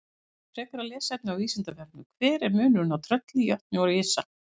Frekara lesefni á Vísindavefnum: Hver er munurinn á trölli, jötni og risa?